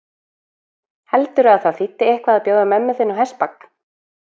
Heldurðu að það þýddi eitthvað að bjóða mömmu þinni á hestbak?